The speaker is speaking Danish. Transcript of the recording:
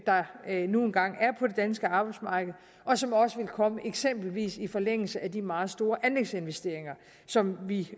der nu engang er på det danske arbejdsmarked og som også vil komme eksempelvis i forlængelse af de meget store anlægsinvesteringer som vi